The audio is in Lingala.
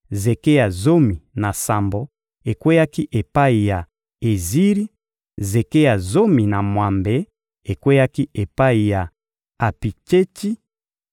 zeke ya zomi na sambo ekweyaki epai ya Eziri; zeke ya zomi na mwambe ekweyaki epai ya Apitsetsi;